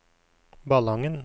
Ballangen